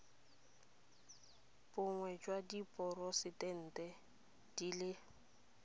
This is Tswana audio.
bonnye jwa diporosente di le